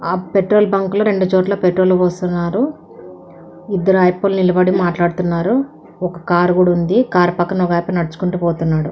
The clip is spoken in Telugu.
ఆ పెట్రోలు బంకులోని రెండు చోట్ల పెట్రోల్ పోస్తున్నారు. ఇద్దరు వ్యక్తులు నిలబడి మాట్లాడుకుంటున్నారు. ఒక కారు కూడా ఉంది. ఆ కారు పక్కన ఒక అతని నడుచుకుంటూ పోతున్నాడు.